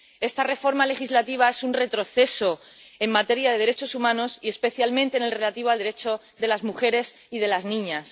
Esta reforma legislativa es un retroceso en materia de derechos humanos, y especialmente en lo relativo al derecho de las mujeres y de las niñas.